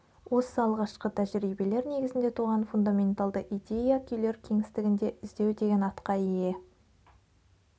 осы алғашқы тәжірибелер негізінде туған фундаменталды идея күйлер кеңістігінде іздеу деген атқа ие